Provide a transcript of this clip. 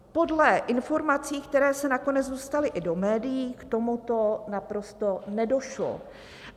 Podle informací, které se nakonec dostaly i do médií, k tomuto naprosto nedošlo.